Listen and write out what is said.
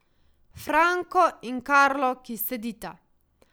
Franko in Karlo, ki sedita.